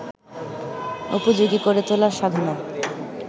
উপযোগী করে তোলার সাধনায়